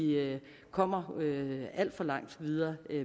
kommer alt for langt videre